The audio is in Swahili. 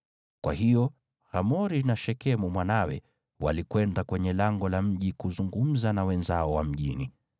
Kwa hiyo Hamori na Shekemu mwanawe walikwenda kwenye lango la mji kuzungumza na wenzao wa mjini.